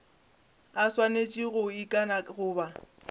a swanetše go ikana goba